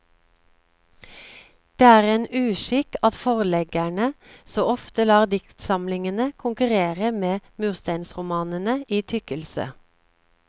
Det er en uskikk at forleggerne så ofte lar diktsamlingene konkurrere med mursteinsromanene i tykkelse.